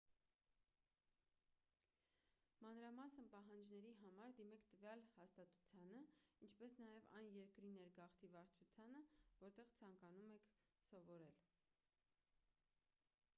մանրամասն պահանջների համար դիմեք տվյալ հաստատությանը ինչպես նաև այն երկրի ներգաղթի վարչությանը որտեղ ցանկանում եք սովորել